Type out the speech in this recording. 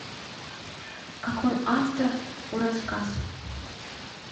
какой автор у рассказ